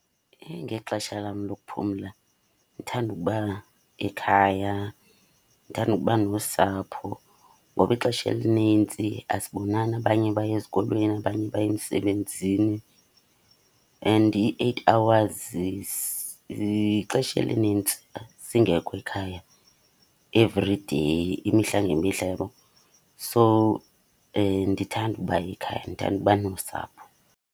Ngexesha lam lokuphumla ndithanda ukuba ekhaya, ndithanda ukuba nosapho. Ngoba ixesha elinintsi asibonani, abanye baya ezikolweni abanye baye emsebenzini. And i-eight hours ixesha elinintsi singekho ekhaya everyday, imihla ngemihla, uyabo. So, ndithanda uba ekhaya, ndithanda uba nosapho.